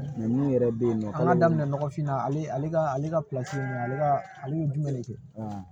Ninnu yɛrɛ bɛ yen nɔ an ka daminɛ nɔgɔfinna ale ka ale ka ninnu ale ka ale bɛ jumɛn de kɛ